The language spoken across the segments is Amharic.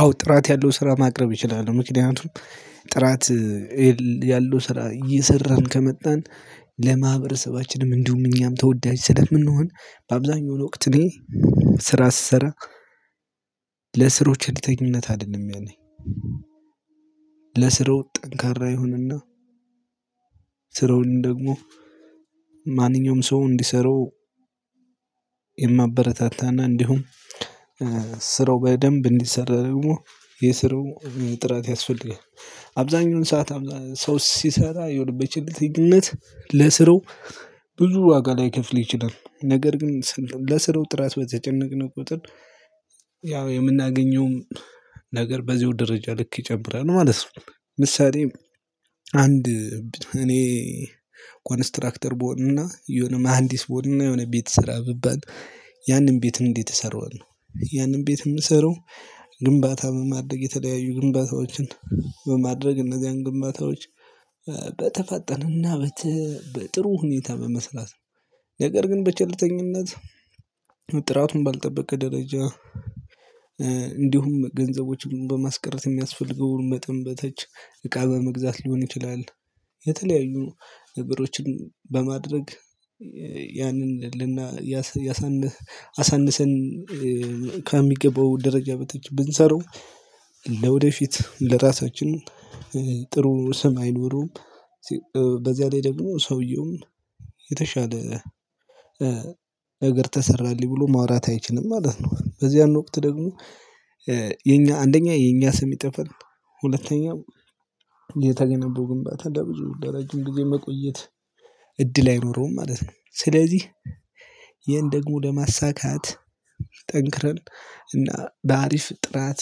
አዎ ጥራት ያለው ስራ ማቅረብ እችላለሁ። ምክንያቱም ጥራት ያለው ስራ እየሰራን ከመጣን ለማህበረሰባችንም እንዲሁም እኛም ተወዳጅ ስለምንሆን በአብዛኛው ወቅት ላይ ስራ ስሰራ ለስራው ቸልተኝነት አይደለም። ያኔ ለስራው ጠንካራ ይሁንና ስራውን ደግሞ ማንኛውም ሰው እንዲሰራው የማበረታታና እንዲሁም ስራው በደንብ እንዲሰራ ደግሞ የስራው ጥራት ያስፈልጋል። አብዛኛውን ሰዓት ሰው ሲሰራ የሆነ በቸልተኝነት ለስራው ብዙ ዋጋ ላይከፍል ይችላል ነገር ግን ለስራው ጥራት በተጨነቅነው ቁጥር የምናገኘውም ነገር በዚሁ ደረጃ ልክ ይጨምራል ማለት ነው። ምሳሌ አንድ እኔ ኮንስትራክተር ብሆንና የሆነ መሃንዲስ ብሆንና የሆነ ቤት ስራ ብባል ያንን ቤት እንዴት እሰራዋለሁ ነው? ያንን ቤት የምሰራው ግንባታም ማድረግ የተለያዩ ግንባታዎችን በማድረግ እነዚያን ግንባታዎች በተፋጠነና በጥሩ ሁኔታ በመሰላት ነው። ነገር ግን በቸልተኝነት ጥራቱን ባልጠበቀ ደረጃ እንዲሁም ገንዘቦችን በማስቀረት የሚያስፈልገው መጠን በታች እቃ በመግዛት ሊሆን ይችላል። የተለያዩ ነገሮችን በማድረግ ያንን ልና ያሳንስ አሳንሰን ከሚገባው ደረጃ በታች ብንሰራው ለወደፊት ለራሳችን ጥሩ ስም አይኖሮውም። በዚያ ላይ ደግሞ ሰውየውም የተሻለ ነገር ተሰራልኝ ብሎ ማውራት አይችልም ማለት ነው። በዚያን ወቅት ደግሞ የኛ አንደኛ የኛ ስም ይጠፋል ሁለተኛው የተገነባው ግንባታ ለብዙ ለረጅም ጊዜ መቆየት እድል አይኖረውም ማለት ነው። ስለዚህ ይሄን ደግሞ ለማሳካት ጠንክረን እና በአሪፍ ጥራት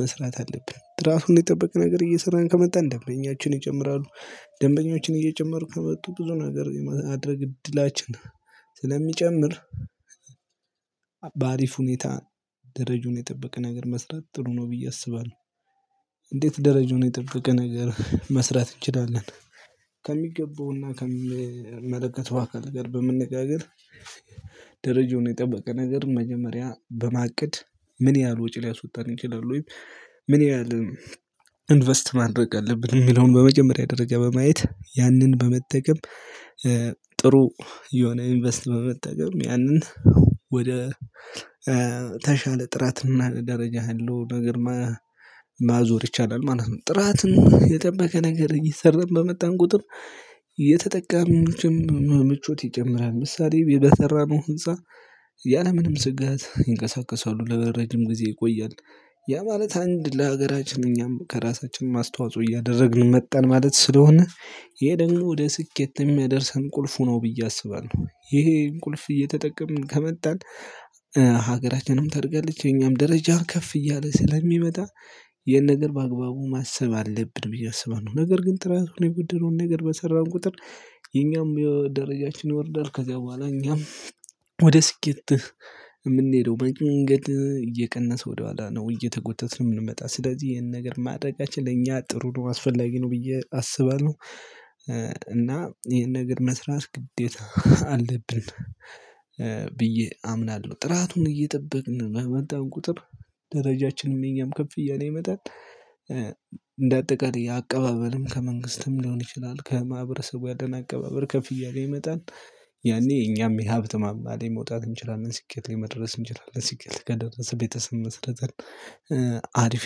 መስራት አለብን ራሱን የጠበቀ ነገር እየሰራን ከመጣን ደንበኛችን ይጨምራሉ ደንበኞችን እየጨመሩ ከመጡ ብዙ ነገር የማድርግ እድላችን ስለሚጨምር በአሪፍ ሁኔታ ደረጃውን የጠበቀ ነገር መስራት ጥሩ ነው ብዬ አስባለሁ። እንዴት ደረጃውን የጠበቀ ነገር መስራት እንችላለን? ከሚገባውና ከሚመለከተው አካል ጋር በመነጋገር የጠበቀ ነገር መጀመሪያ በማቀድ ምን ያህል ወጪ ሊያስወጣን ይችላል ወይም ምን ያህል ኢንቨስት ማድረግ አለብን ሚለውን በመጀመሪያ ደረጃ በማየት ያንን በመጠቀም ጥሩ የሆነ ኢንቨስት በመጠቀም ያንን ወደ ተሻለ ጥራትና ደረጃ ያለው ነገር ማዞር ይቻላል ማለት ነው። ጥራትን የጠበቀ ነገር እየሰራን በመጣን ቁጥር የተጠቀምን ምቾት ይጨምራል ምሳሌ በሰራነው ህንፃ ያለምንም ስጋት ይንቀሳቀሳሉ ለረጅም ጊዜ ይቆያል። ያ ማለት አንድ ለሀገራችን እኛም ከራሳችንም አስተዋጽኦ እያደረግን መጣን ማለት ስለሆነ ይሄ ደግሞ ወደ ስኬት የሚያደርሰን ቁልፉ ነው ብዬ አስባለሁ። ይሄን ቁልፍ እየተጠቀምን ከመጣን ሀገራችንም ታድጋለች የኛም ደረጃ ከፍ እያለ ስለሚመጣ ይሄን ነገር በአግባቡ ማሰብ አለብን ብዬ አስባለሁ። ነገር ግን ጥራቱን የጎደለው ነገር በሰራን ቁጥር የኛም የደረጃችን ይወርዳል ከዛ በኋላ እኛም ወደ ስኬት የምንሄደው መንገድ እየቀነሰ ወደ ኋላ ነው እየተጎተተን የምንመጣ ስለዚህ ይሄን ነገር ማድረጋችን ለእኛ ጥሩ ነው አስፈላጊ ነው ብዬ አስባለሁ። እና ይሄን ነገር መስራት ግዴታ አለብን ብዬ አምናለሁ ጥራቱን እየጠበቅን በመጣን ቁጥር ደረጃችንም የኛም ከፍ እያለ ይመጣል። እንደ አጠቃላይ አቀባበልም ከመንግስትም ሊሆን ይችላል ከማህበረሰቡ ያለን አቀባበል ከፍ እያለ ይመጣል። ያኔ እኛም የሀብት ማማለይ መውጣት እንችላለን ስኬት ላይ መድረስ እንችላለን ስኬት ከደረሰ ቤተሰብ መስርተን አሪፍ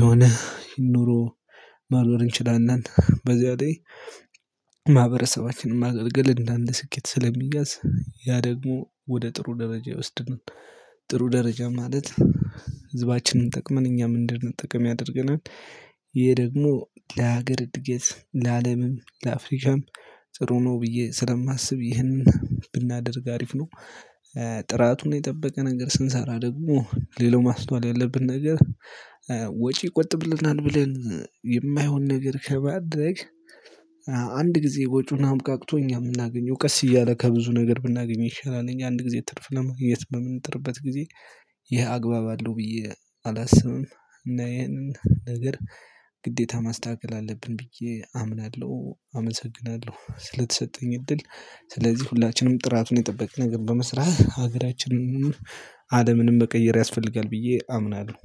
የሆነ ኑሮ ማኖር እንችላለን። በዚያኔ ማህበረሰባችንን ማገልገል እንደ አንድ ስኬት ስለሚያዝ ያ ደግሞ ወደ ጥሩ ደረጃ ይወስድን። ጥሩ ደረጃ ማለት ህዝባችንን ጠቅመን እኛም እንድንጠቀም ያደርገናል ይሄ ደግሞ ለሀገር እድገት ለአለምም ለአፍሪካም ጥሩ ነው ብዬ ስለማስብ ይህንን ብናደርግ አሪፍ ነው። ጥራቱን የጠበቀ ነገር ስንሰራ ደግሞ ሌላው ማስተዋል ያለብን ነገር ወጪ ይቆጥብልናል ብለን የማይሆን ነገር ከማድረግ አንድ ጊዜ ወጭውን አብቃቅቶ እኛ ምናገኘው ቀስ እያለ ከብዙ ነገር ብናገኝ ይሻላል እኛ አንድ ጊዜ ትርፍ ለማግኘት በምንጥርበት ጊዜ ይሄ አግባብ አለው ብዬ አላስብም እና ይሄንን ነገር ግዴታ ማስተካከል አለብን ብዬ አምናለሁ። አመሰግናለሁ ስለተሰጠኝ እድል ስለዚህ ሁላችንም ጥራቱን የጠበቀ ነገር በመስራት ሀገራችንን እንኑር አለምንም መቀየር ያስፈልጋል ብዬ አምናለሁ።